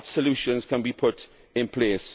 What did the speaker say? What solutions can be put in place?